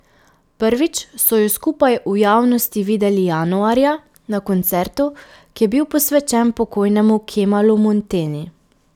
Prvič so ju skupaj v javnosti videli januarja, na koncertu, ki je bil posvečen pokojnemu Kemalu Monteni.